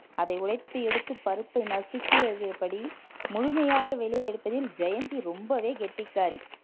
அதை உடைத்து எடுத்து பருப்பை நசுக்கியதுபடி முழுமையாக வெளியே எடுப்பதில் ஜெயந்தி ரொம்பவே கெட்டிக்காரி